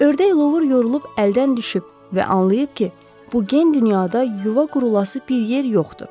Ördək Luvr yorulub əldən düşüb və anlayıb ki, bu gen dünyada yuva qurulası bir yer yoxdur.